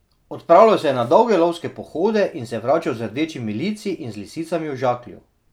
Odpravljal se je na dolge lovske pohode in se vračal z rdečimi lici in z lisicami v žaklju.